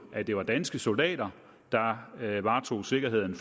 at det var danske soldater der varetog sikkerheden